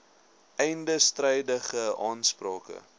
einde strydige aansprake